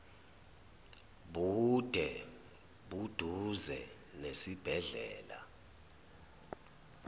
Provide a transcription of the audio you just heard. bude buduze nesibhedlela